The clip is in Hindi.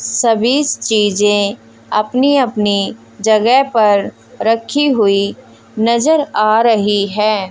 सभी चीजें अपनी अपनी जगह पर रखी हुई नजर आ रही है।